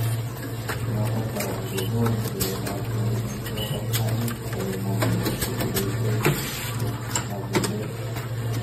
Notok kora nekikonu siret ab kei eng chotok aeng kole momi nesirei eng mocheset.